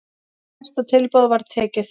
Hæsta tilboði var tekið.